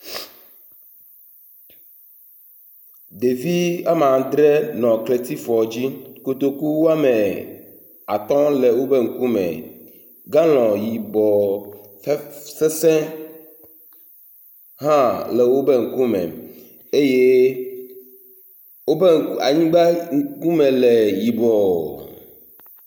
Ɖevi ama dre nɔ kletifɔ dzi, kotoku woame atɔ̃ le woƒe ŋkume. Galɔn yibɔ xe…sesẽ hã le wobe ŋkume eye wobe ŋku…anyigba ŋkume le yibɔ.